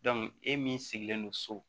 e min sigilen don so